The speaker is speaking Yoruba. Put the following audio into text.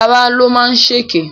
Lará ló máa ṣèkè.